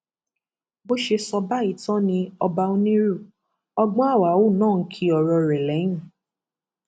bó ṣe sọ báyìí tán ni ọba onírú ọgbọnhàwàù náà kín ọrọ rẹ lẹyìn